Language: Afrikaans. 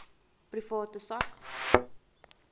private sak